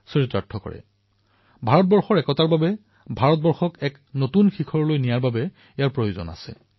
আৰু সেইবাবে কেৱল শৰীৰেই নহয় মন আৰু সংস্কাৰ ভাৰতৰ একতাৰ বাবে ভাৰতক এক নতুন উচ্চতাত আৰোহণ কৰাব লাগিব